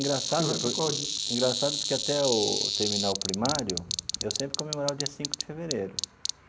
Engraçado engraçado porque até eu terminar o primário, eu sempre comemorava dia cinco de fevereiro.